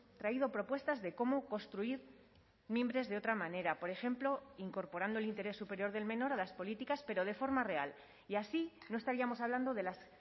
traído propuestas de cómo construir mimbres de otra manera por ejemplo incorporando el interés superior del menor a las políticas pero de forma real y así no estaríamos hablando de las